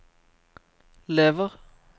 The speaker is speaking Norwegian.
lever